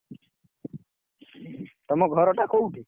ତମ ଘର ଟା କୋଉଠି?